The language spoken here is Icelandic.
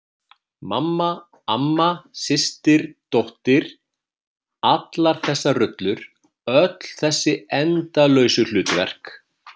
Mamma, amma, systir dóttir- allar þessar rullur, öll þessi endalausu hlutverk.